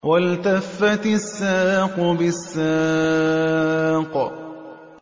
وَالْتَفَّتِ السَّاقُ بِالسَّاقِ